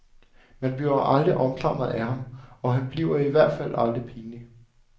Man bliver aldrig omklamret af ham, og han bliver i hvert fald aldrig pinlig.